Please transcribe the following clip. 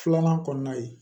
Filanan kɔnɔna ye